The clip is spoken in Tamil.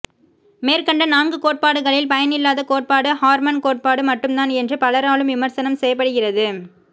மேற்கண்ட நான்கு கோட்பாடுகளில் பயனில்லாத கோட்பாடு ஹார்மன் கோட்பாடு மட்டும்தான் என்று பலராலும் விமர்சனம் செய்யப்படுகிறது